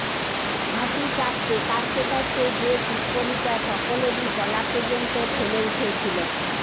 হাসি চাপতে কাশতে কাশতে যে টিপ্পনিটা সকলেরই গলা পর্যন্ত ঠেলে উঠেছিল